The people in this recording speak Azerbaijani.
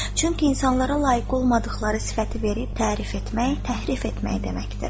Çünki insanlara layiq olmadıqları sifəti verib tərif etmək, təhrif etmək deməkdir.